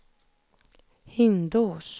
Hindås